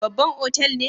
Babban otal ne?